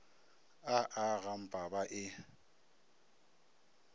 a a gampa ba e